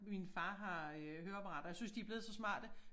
Min far har øh høreapparater jeg synes de blevet så smarte